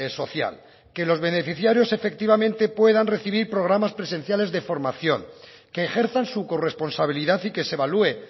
social que los beneficiarios efectivamente puedan recibir programas presenciales de formación que ejerzan su corresponsabilidad y que se evalúe